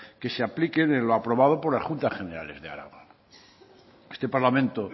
que se apliquen en lo aprobado por las juntas generales de araba este parlamento